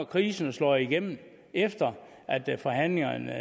krisen og slog igennem efter forhandlingerne